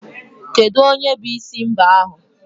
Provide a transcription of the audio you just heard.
Kedu onye bụ isi mbah ahu?